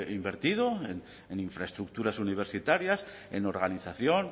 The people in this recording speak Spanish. invertido en infraestructuras universitarias en organización